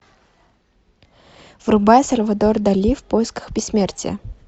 врубай сальвадор дали в поисках бессмертия